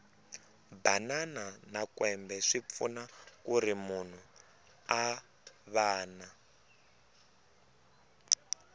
banana na kwembe swipfuna kuri munhu a vana